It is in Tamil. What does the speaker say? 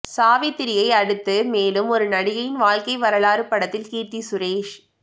சாவித்ரியை அடுத்து மேலும் ஒரு நடிகையின் வாழ்க்கை வரலாறு படத்தில் கீர்த்தி சுரேஷ்